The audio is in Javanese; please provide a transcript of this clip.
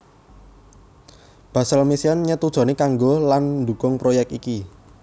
Basel Mission nyetujoni kanggo lan ndukung proyek iki